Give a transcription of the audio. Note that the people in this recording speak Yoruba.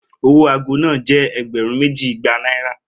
Owo aago naa jẹ ẹgbẹrun meji igba Naira